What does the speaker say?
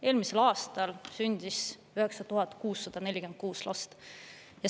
Eelmisel aastal sündis 9646 last.